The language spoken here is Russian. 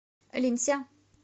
линься